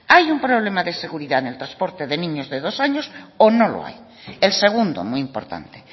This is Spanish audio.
hay un problema de seguridad en el transporte de niños de dos años o no lo hay el segundo muy importante